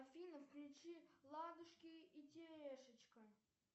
афина включи ладушки и терешечка